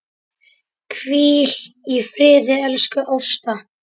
Hvíl í friði, elsku Ásta.